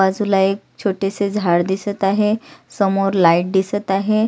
बाजूला एक छोटेसे झाड दिसत आहे समोर लाइट दिसत आहे.